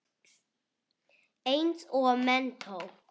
Eins og menntó.